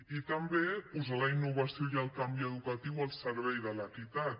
i també posar la innovació i el canvi educatiu al servei de l’equitat